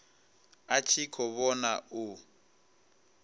a tshi khou vhona u